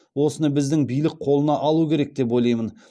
осыны біздің билік қолына алу керек деп ойлаймын